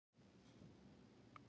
Og jú.